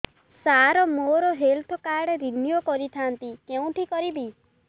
ସାର ମୋର health card renew କରିଥାନ୍ତି କେଉଁଠି କରିବି